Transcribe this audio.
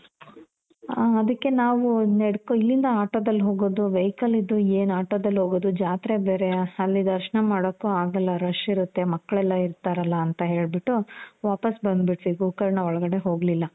ಹಾ ಅದಿಕ್ಕೆ ನಾವು ಇಲ್ಲಿಂದ ಆಟೋದಲ್ಲಿ ಹೋಗೋದು, vehicle ಇದ್ದು ಏನ್ ಆಟೋದಲ್ಲಿ ಹೋಗೋದು ಜಾತ್ರೆ ಬೇರೆ, ಅಲ್ಲಿ ದರ್ಶ್ನ ಮಾಡೋಕು ಆಗಲ್ಲ. rush ಇರುತ್ತೆ. ಮಕ್ಳೆಲ್ಲ ಇರ್ತಾರಲ ಅಂತ ಹೇಳ್ಬಿಟ್ಟು, ವಾಪಾಸ್ ಬಂದು ಬಿಟ್ವಿ. ಗೋಕರ್ಣ ಒಳ್ಗಡೆ ಹೋಗಲಿಲ್ಲ.